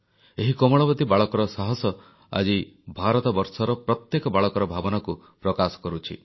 ଏହି କୋମଳମତି ବାଳକର ସାହସ ଆଜି ଭାରତବର୍ଷର ପ୍ରତ୍ୟେକ ବାଳକର ଭାବନାକୁ ପ୍ରକାଶ କରୁଛି